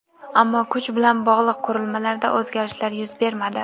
Ammo kuch bilan bog‘liq qurilmalarida o‘zgarishlar yuz bermadi.